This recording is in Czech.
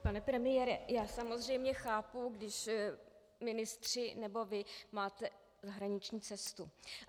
Pane premiére, já samozřejmě chápu, když ministři nebo vy máte zahraniční cestu.